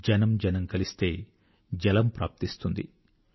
జనం జనం కలిస్తే జలం ప్రాప్తిస్తుంది